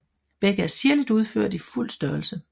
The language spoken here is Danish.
Begge er sirligt udført i fuld størrelse